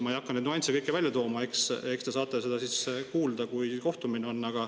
Ma ei hakka neid nüansse kõiki välja tooma, eks te saate seda siis kuulda, kui kohtumine on.